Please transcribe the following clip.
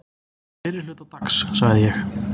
Fyrri hluta dags sagði ég.